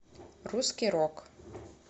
русский рок